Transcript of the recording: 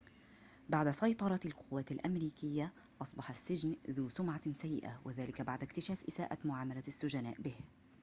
بعد سيطرة القوات الأمريكية أصبح السجن ذو سمعة سيئة وذلك بعد اكتشاف إساءة معاملة السجناء به